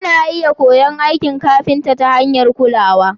ana iya koyon aikin kafinta ta hanyar kulawa.